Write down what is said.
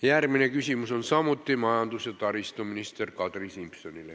Järgmine küsimus on samuti majandus- ja taristuminister Kadri Simsonile.